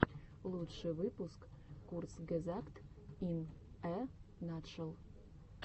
лучший выпуск курцгезагт ин э натшел